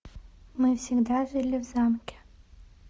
мы всегда жили в замке